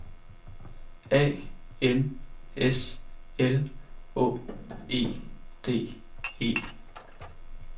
A N S L Å E D E